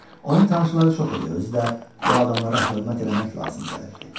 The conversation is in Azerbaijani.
Onun tanışları çox idi, özü də bu adamlara hörmət eləmək lazım gəlirdi.